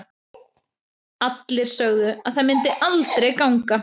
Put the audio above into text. Allir sögðu að það myndi aldrei ganga.